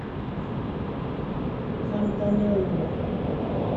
кантанелло